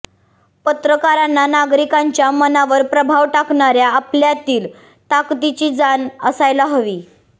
पत्रकारांना नागरिकांच्या मनावर प्रभाव टाकणाऱ्या आपल्यातील ताकदीची जाण असायला हवी